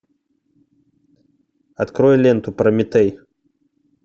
открой ленту прометей